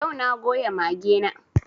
Yau na goya mage na